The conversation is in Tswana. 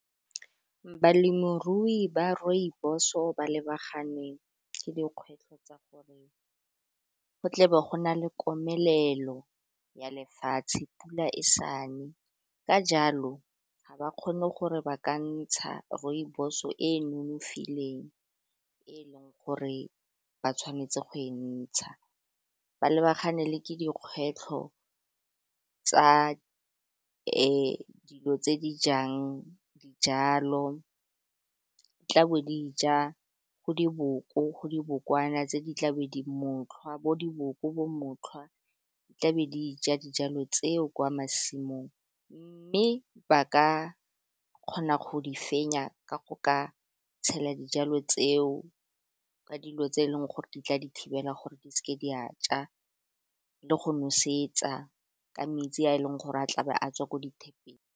Balemirui ba rooibos-o ba lebaganeng ke dikgwetlho tsa gore go tle ba go na le komelelo ya lefatshe pula e sa ne, ka jalo ga ba kgone gore ba ka ntsha rooibos-o e e nonofileng e leng gore ba tshwanetse go e ntsha ba lebagane le ke dikgwetlho tsa dilo tse di jang dijalo tla bo di ja, go diboko, go dibokwana, tse di tla mo tlhotlhwa bo diboko, motlhwa tla be di ja dijalo tseo kwa masimong. Mme ba ka kgona go di fenya ka go ka tshela dijalo tseo, ka dilo tse e leng gore di tla di thibela gore di seke di a ja le go nosetsa ka metsi a e leng gore a tlabe a tswa ko dithepeng.